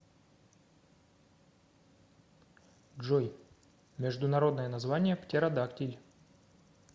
джой международное название птеродактиль